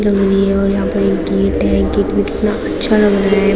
बनी है और यहाँ पर एक गेट है गेट भी कितना अच्छा लग रहा है।